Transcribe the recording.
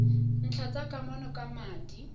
ntlha tsa kamano ka madi